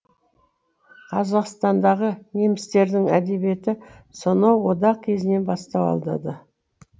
қазақстандағы немістердің әдебиеті сонау одақ кезінен бастау алады